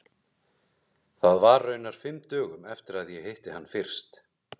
Það var raunar fimm dögum eftir að ég hitti hann fyrst.